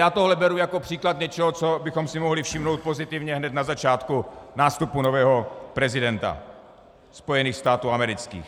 Já tohle beru jako příklad něčeho, co bychom si mohli všimnout pozitivně hned na začátku nástupu nového prezidenta Spojených států amerických.